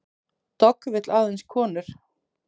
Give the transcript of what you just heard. Dogg vill aðeins konur